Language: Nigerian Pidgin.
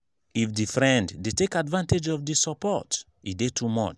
if di friend de take advantage of di support e de too much